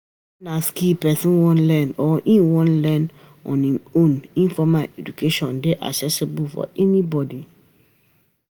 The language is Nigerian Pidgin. Weda na skill person wan learn or im wan learn on im own, informal education dey accessible to anybody